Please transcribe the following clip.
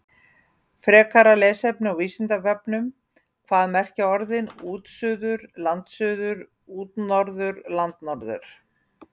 Frekara lesefni á Vísindavefnum: Hvað merkja orðin útsuður, landsuður, útnorður og landnorður?